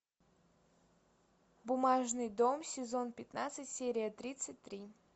бумажный дом сезон пятнадцать серия тридцать три